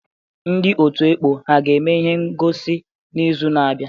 Ndị ọtụ̀ ekpọ ha ga-eme ihe ngọsi n'izu na-abịa?